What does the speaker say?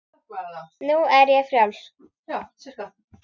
Nú er ég frjáls!